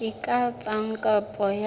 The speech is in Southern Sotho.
a ka etsa kopo ya